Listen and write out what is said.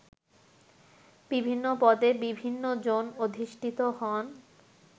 বিভিন্ন পদে বিভিন্ন জন অধিষ্ঠিত হন